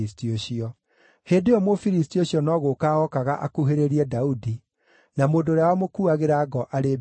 Hĩndĩ ĩyo Mũfilisti ũcio no gũũka ookaga akuhĩrĩrie Daudi, na mũndũ ũrĩa wamũkuuagĩra ngo arĩ mbere yake.